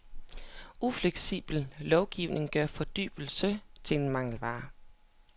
Ufleksibel lovgivning gør fordybelse til en mangelvare.